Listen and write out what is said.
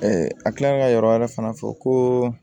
a tilalen ka yɔrɔ wɛrɛ fana fɔ ko